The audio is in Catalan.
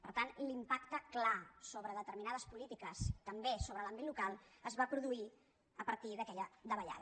per tant l’impacte clar sobre determinades polítiques també sobre l’àmbit local es va produir a partir d’aquella davallada